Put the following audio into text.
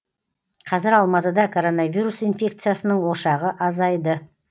қазір алматыда коронавирус инфекциясының ошағы азайды